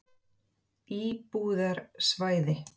Æ, ég er að reyna að jafna mig á þessu áfalli, segir hann.